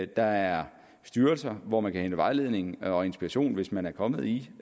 der er styrelser hvor man kan hente vejledning og inspiration hvis man er kommet i